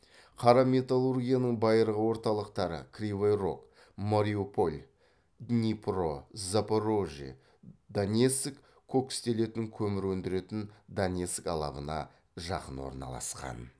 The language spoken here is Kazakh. қара металлургияның байырғы орталықтары кривой рог мариуполь днипро запорожье донецк кокстелетін көмір өндіретін донецк алабына жақын орналасқан